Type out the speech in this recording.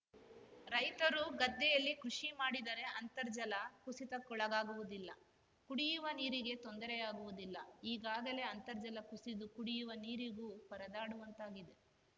ರೈತರು ಗದ್ದೆಯಲ್ಲಿ ಕೃಷಿ ಮಾಡಿದರೆ ಅಂತರ್ಜಲ ಕುಸಿತಕ್ಕೊಳಗಾಗುವುದಿಲ್ಲ ಕುಡಿಯುವ ನೀರಿಗೆ ತೊಂದರೆಯಾಗುವುದಿಲ್ಲ ಈಗಾಗಲೇ ಅಂತರ್ಜಲ ಕುಸಿದು ಕುಡಿಯುವ ನೀರಿಗೂ ಪರದಾಡುವಂತಾಗಿದೆ